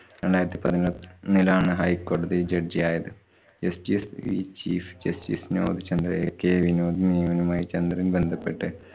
രണ്ടായിരത്തി പതിനൊന്നിലാണ് ഹൈ കോടതി judge യായത്. justice വി~ chief justice വിനോദ് ചന്ദ്രയെ k വിനോദ് നിയമനവുമായി ചന്ദ്രന്‍ ബന്ധപെട്ട്